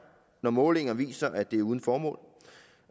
når målinger viser at det er uden formål